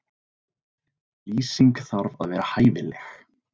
Lýsing þarf að vera hæfileg.